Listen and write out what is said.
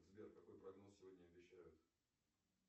сбер какой прогноз сегодня обещают